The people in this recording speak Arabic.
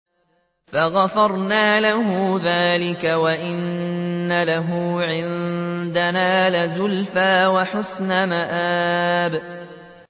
فَغَفَرْنَا لَهُ ذَٰلِكَ ۖ وَإِنَّ لَهُ عِندَنَا لَزُلْفَىٰ وَحُسْنَ مَآبٍ